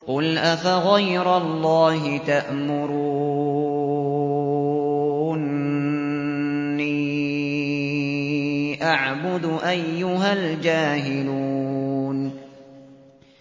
قُلْ أَفَغَيْرَ اللَّهِ تَأْمُرُونِّي أَعْبُدُ أَيُّهَا الْجَاهِلُونَ